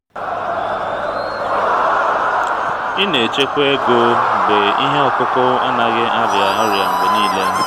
ị na-echekwa ego mgbe ihe ọkụkụ anaghị arịa ọrịa mgbe niile.